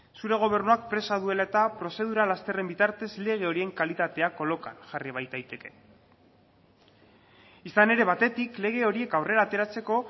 zure gobernuak presa duela eta prozedura lasterren bitartez lege horien kalitatea kolokan jarri baitaiteke izan ere batetik lege horiek aurrera ateratzeko